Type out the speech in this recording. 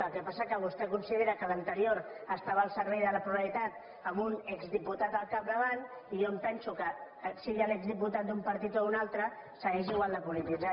el que passa que vostè considera que l’anterior estava al servei de la pluralitat amb un exdiputat al capdavant i jo penso que sigui l’exdiputat d’un partit o d’un altre segueix igual de polititzat